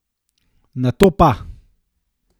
Nato pa?